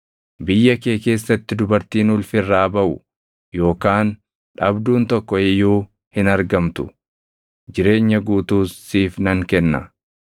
biyya kee keessatti dubartiin ulfi irraa baʼu yookaan dhabduun tokko iyyuu hin argamtu. Jireenya guutuus siif nan kenna.